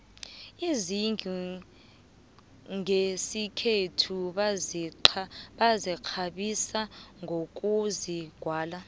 izindlu nqesikhethu bazikqabisa nqokuzigwala